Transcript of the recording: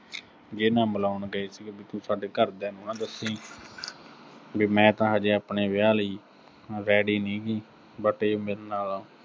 ਜੀਹਦੇ ਨਾਲ ਮਿਲਾਉਣ ਗਏ ਸੀਗੇ, ਵੀ ਤੂੰ ਸਾਡੇ ਘਰ ਦਿਆਂ ਨੂੰ ਨਾ ਦੱਸੀਂ। ਵੀ ਮੈਂ ਤਾਂ ਹਜੇ ਆਪਣੇ ਵਿਆਹ ਲਈ ready ਨੀਂ ਗੀ, but ਇਹ ਮੇਰੇ ਨਾਲ